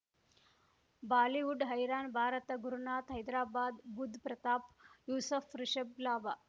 Bollywood ಹೈರಾಣ ಭಾರತ ಗುರುನಾಥ್ ಹೈದ್ರಾಬಾದ್ ಬುಧ್ ಪ್ರತಾಪ್ ಯೂಸುಫ್ ರಿಷಬ್ ಲಾಭ